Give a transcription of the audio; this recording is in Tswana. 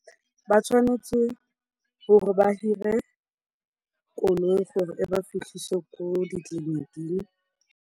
Ba tshwanetse gore ba hire koloi gore e ba fitlhise ko ditleliniking.